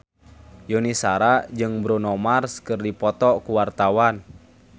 Yuni Shara jeung Bruno Mars keur dipoto ku wartawan